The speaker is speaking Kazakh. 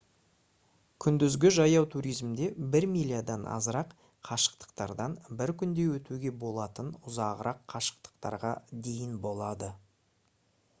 күндізгі жаяу туризмде бір милядан азырақ қашықтықтардан бір күнде өтуге болатын ұзағырақ қашықтықтарға дейін болады